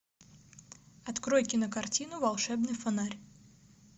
открой кинокартину волшебный фонарь